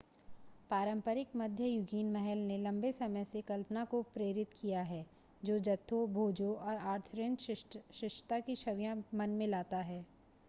पारंपरिक मध्ययुगीन महल ने लंबे समय से कल्पना को प्रेरित किया है जो जत्थों भोजों और आर्थरियन शिष्टता की छवियां मन में लाता है